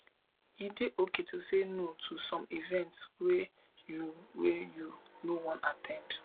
e dey okay to say no to some events wey you wey you no wan at ten d